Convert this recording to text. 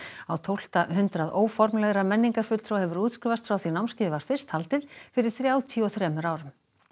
á tólfta hundrað óformlegra menningarfulltrúa hefur útskrifast frá því námskeiðið var fyrst haldið fyrir þrjátíu og þremur árum